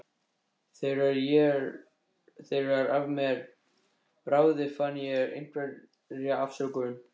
Þegar af mér bráði fann ég einhverja afsökun.